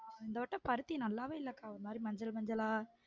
இந்த வட்டம் பருத்தி நல்லாவே இல்லக்கா ஒரு மாதிரி மஞ்சள் மஞ்சள்லா